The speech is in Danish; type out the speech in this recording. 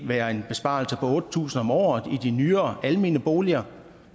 være en besparelse på otte tusind kroner om året i de nyere almene boliger